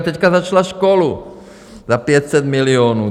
A teď začala školu za 500 milionů.